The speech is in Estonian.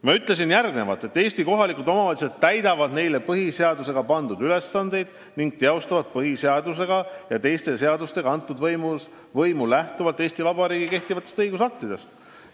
Ma ütlesin järgmist: "Eesti kohalikud omavalitsused täidavad neile põhiseadusega pandud ülesandeid ning teostavad põhiseaduse ja teiste seadustega antud võimu lähtuvalt Eesti Vabariigi kehtivatest õigusaktidest.